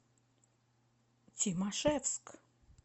тимашевск